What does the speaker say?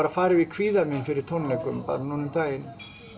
að fara yfir kvíðann minn fyrir tónleikum bara núna um daginn